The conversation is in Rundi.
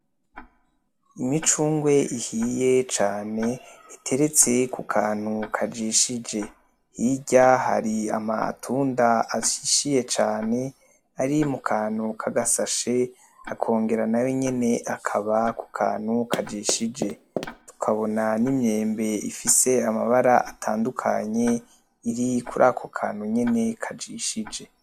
Imicungwe ihiye cane iteretse ku kantu kajishije, hirya hari amatunda ashishiye cane ari mu kantu k'agasashe, akongera nayo nyene akaba ku kantu kajishije. Tukabona n'imyembe ifise amabara atandukanye iri kuri ako kantu nyene kajishije.